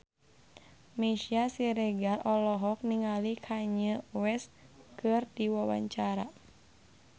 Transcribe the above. Meisya Siregar olohok ningali Kanye West keur diwawancara